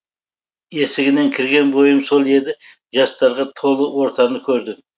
есігінен кірген бойым сол еді жастарға толы ортаны көрдім